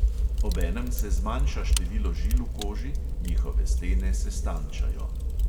Obenem se zmanjša število žil v koži, njihove stene se stanjšajo.